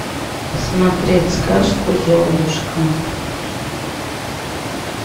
смотреть сказку золушка